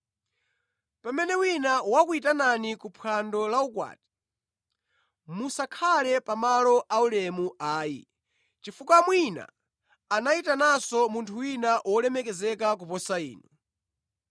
“Pamene wina wakuyitanani ku phwando la ukwati, musakhale pa malo aulemu ayi, chifukwa mwina anayitananso munthu wina wolemekezeka kuposa inu.